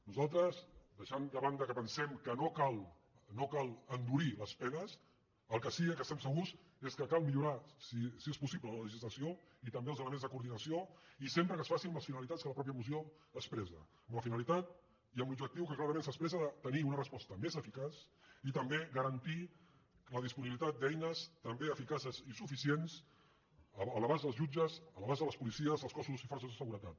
nosaltres deixant de banda que pensem que no cal no cal endurir les penes del que sí que estem segurs és que cal millorar si és possible la legislació i també els elements de coordinació i sempre que es faci amb les finalitats que la mateixa moció expressa amb la finalitat i amb l’objectiu que clarament s’expressa de tenir una resposta més eficaç i també garantir la disponibilitat d’eines també eficaces i suficients a l’abast dels jutges a l’abast de les policies dels cossos i forces de seguretat